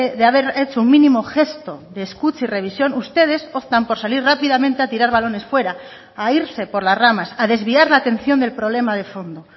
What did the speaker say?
de haber hecho un mínimo gesto de escucha y revisión ustedes optan por salir rápidamente a tirar balones fuera a irse por las ramas a desviar la atención del problema de fondo